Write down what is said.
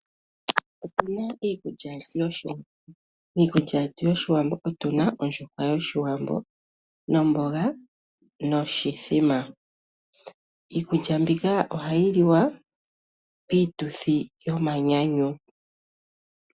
Otuna iikulya yoshiwambo, iikulya yetu yoshiwambo otu na ondjuhwa yoshiwambo nomboga noshithima. Iikulya mbika ohayi liwa piituthi yomanyanyu.